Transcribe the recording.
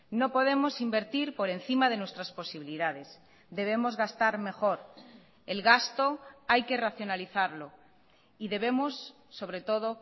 no podemos invertir por encima de nuestras posibilidades debemos gastar mejor el gasto hay que racionalizarlo y debemos sobre todo